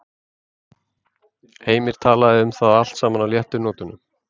Heimir talaði um það allt saman á léttu nótunum.